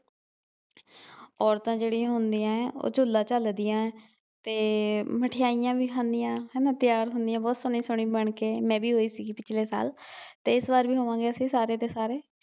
ਔਰਤਾਂ ਜਿਹੜੀਆਂ ਹੁੰਦੀਆਂ ਏ ਉਹ ਝੂਲਾ ਚਲਦੀਆਂ ਏ ਤੇ ਏ ਮਠਿਆਈਆਂ ਵੀ ਖਾਂਦੀਆਂ ਹੇਨਾ ਤਿਆਰ ਹੁੰਦੀਆਂ ਬਹੁਤ ਸੋਹਣੇ ਸੋਹਣੇ ਬਣ ਕੇ ਮੈ ਵੀ ਹੋਈ ਸੀ ਪਿਛਲੇ ਸਾਲ ਤੇ ਇਸ ਵਾਰ ਵੀ ਹੋਵਾਂਗੇ ਅਸੀ ਸਾਰੇ ਦੇ ਸਾਰੇ